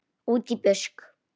Útí busk.